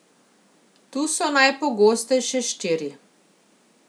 Tu so najpogostejše štiri.